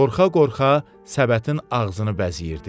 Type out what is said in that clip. Qorxa-qorxa səbətin ağzını bəzəyirdi.